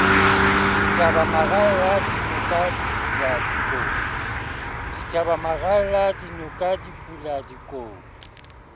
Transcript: dithaba maralla dinoka diphula dikou